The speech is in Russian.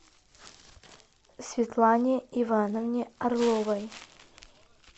светлане ивановне орловой